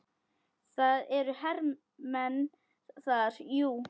Það eru hermenn þar, jú.